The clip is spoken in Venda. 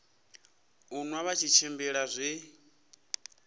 u nwa vha tshimbila zwi